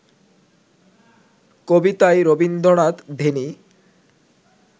কবিতায় রবীন্দ্রনাথ ধ্যানী